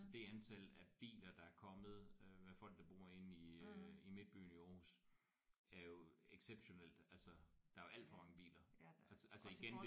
Det antal af biler der er kommet øh med folk der bor inde i øh i midtbyen i Aarhus er jo exceptionelt. Altså der er jo alt for mange biler altså igen det der